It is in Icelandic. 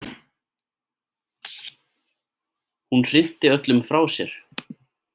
Hún hrinti öllum frá sér.